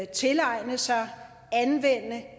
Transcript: tilegne sig anvende